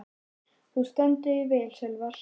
Þú stendur þig vel, Sölvar!